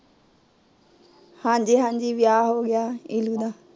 ਹਾਂਜੀ ਹਾਂਜੀ, ਵਿਆਹ ਹੋ ਗਿਆ ਇਲੁ ਦਾ